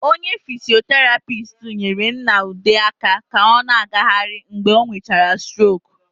Onye fisioterapist nyere Nna Ude aka ka ọ na-agaghịrị mgbe ọ nwechara stroku.